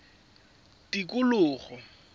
tikologo